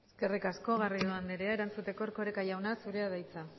eskerrik asko garrido anderea erantzuteko erkoreka jauna zurea da hitza